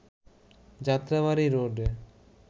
যাত্রাবাড়ী রোডে